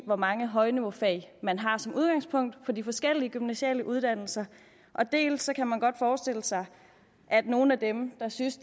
hvor mange højniveaufag man har som udgangspunkt på de forskellige gymnasiale uddannelser dels kan man godt forestille sig at nogle af dem der synes